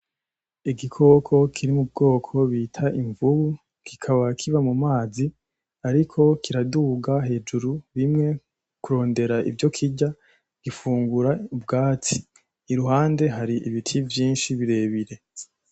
Igikoko kiri mu bwoko bita imvubu kikaba kiba mu mazi ariko kiraduga hejuru rimwe kurondera ivyo kirya, gifungura ubwatsi iruhande hari ibiti vyinshi birebire.